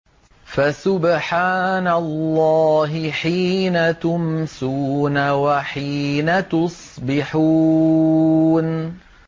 فَسُبْحَانَ اللَّهِ حِينَ تُمْسُونَ وَحِينَ تُصْبِحُونَ